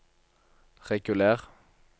reguler